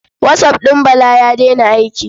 WhatsApp ɗin Bala ya daina aiki.